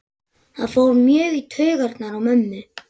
Það fór mjög í taugarnar á mömmu.